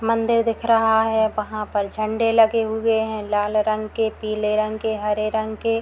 मंदिर दिख रहा है वहाँ पर झंडे लगे हुए हैं लाल रंग के पिले रंग के हरे रंग के।